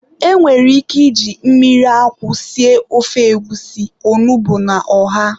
E nwere ike iji mmiri akwụ sie ofe egwusi, onugbu na ọha.